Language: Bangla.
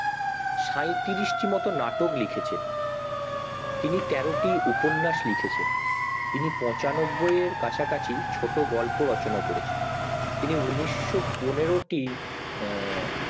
সাঁইত্রিশ টি মতো নাটক ও লিখেছেন তিনি তের টি উপন্যাস লিখেছেন তিনি পচানব্বই এর কাছাকাছি ছোট গল্প রচনা করেছেন তিনি ঊনিশ শো পনেরোটি আঃ